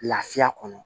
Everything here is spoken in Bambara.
Lafiya kɔnɔ